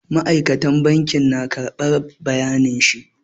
Ma'aikacin banki na karɓar bayanin shi.